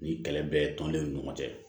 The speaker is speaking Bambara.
Ni kɛlɛ bɛ tɔndenw ni ɲɔgɔn cɛ